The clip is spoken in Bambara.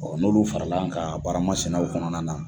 n'olu farala ka baramasinaw kɔnɔna na.